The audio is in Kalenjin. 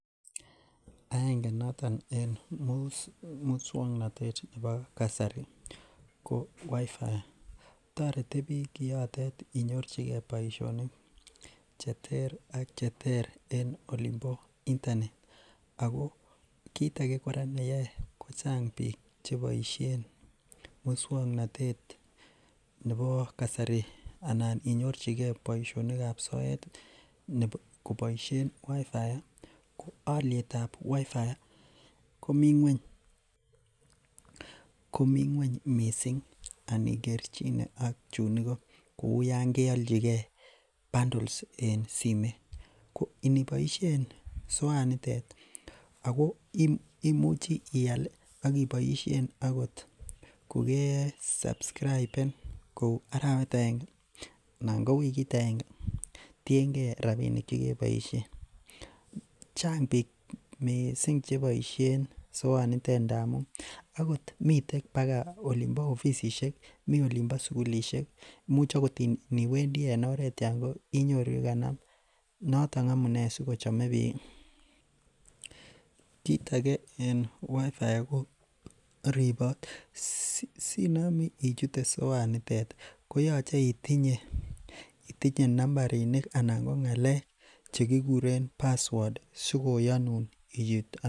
Aenge noton en muswoknotet nebo kasari ko wifi, toreti biik kiotet inyorchike boishonik cheter ak cheter en olimbo internet ak ko kiit ake kora neyoe ko chang biik cheboishen muswoknotet nebo kasari anan inyorchike boishonikab soet koboishen wifi ko olietab wifi komii ngweny, komii ngweny mising anikerchine ak chuun ikoo kou yoon keolchike bundles en simoit, ko iniboishen soanitet ak ko imuchi ial ak iboishen okot ko kesascriben kou arawet akenge anan ko wikit akenge, tieng'e rabishek chekeboishen chang biik mising cheboishen soanitet ndamun akot miten bakaa ofisishek, mii olimbo sukulishek, imuch okot indiwendi en oreet yoon inyoru yekanam, noton amune sikochome biik, kiit akee en wifi ko ribot sinome ichute soanitet koyoche itinye nambarini anan ko ngalek chekikuren password sikoyonun ichut.